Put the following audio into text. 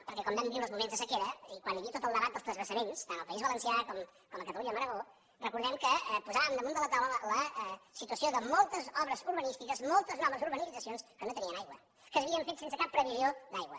perquè quan vam viure els moments de sequera i quan hi havia tot el debat dels transvasaments tant al país valencià com a catalunya amb l’aragó recordem que posàvem damunt de la taula la situació de moltes obres urbanístiques moltes noves urbanitzacions que no tenien aigua que s’havien fet sense cap previsió d’aigua